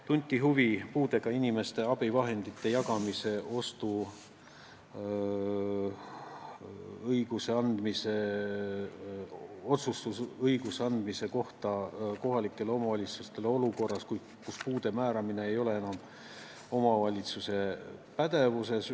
Tunti huvi puudega inimestele abivahendite jagamise otsustusõiguse andmise kohta kohalikele omavalitsustele olukorras, kus puude määramine ei ole enam omavalitsuse pädevuses.